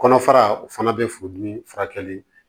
Kɔnɔfara o fana bɛ furudimi furakɛli